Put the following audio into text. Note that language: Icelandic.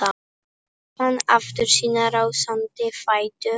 Fann aftur sína rásandi fætur.